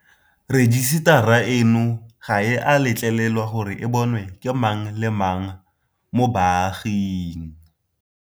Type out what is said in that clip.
Rejisetara eno ga e a letlelelwa gore e bonwe ke mang le mang mo baaging.